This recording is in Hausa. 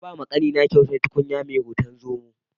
Na bawa ƙanina kyautar tukunya mai hoton zomo.